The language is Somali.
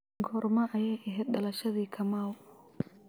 goorma ayay ahayd dhalashadii kamau